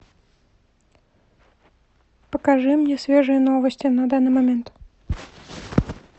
покажи мне свежие новости на данный момент